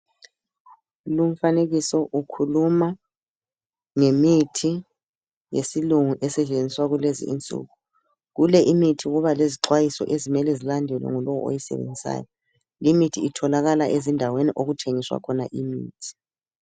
Lumfanekiso ukhuluma ngemithi yesilungu esetshenziswa kulezinsuku. Kule imithi kuba lezixwayiso okumele zilandelwe ngulowo oyisebenzisayo. Limithi itholakala ezindaweni okuthengiswa khona imithi.